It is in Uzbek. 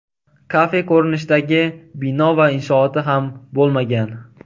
Kafe ko‘rinishidagi bino va inshooti ham bo‘lmagan.